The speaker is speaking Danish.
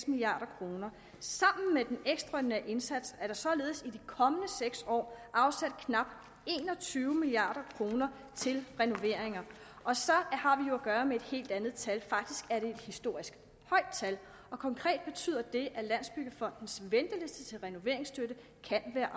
milliard kroner sammen med den ekstraordinære indsats er der således i de kommende seks år afsat knap en og tyve milliard kroner til renoveringer og så har vi jo at gøre med et helt andet tal faktisk er det et historisk højt tal og konkret betyder det at landsbyggefondens venteliste til renoveringsstøtte kan være